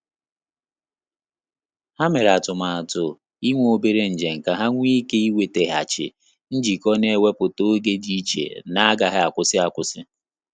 Ha mere atụmatụ inwe obere njem ka ha nwe ike inweteghachi njikọ na iweputa oge dị iche n'agaghi akwụsị akwụsị